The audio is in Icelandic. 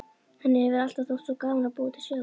Henni hefur alltaf þótt svo gaman að búa til sögur.